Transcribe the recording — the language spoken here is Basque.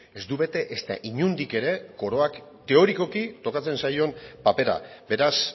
ez du bete ezta inondik ere koroak teorikoki tokatzen zaion papera beraz